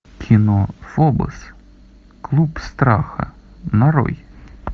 кино фобос клуб страха нарой